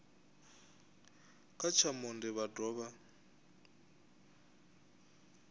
kha tsha monde vha dovha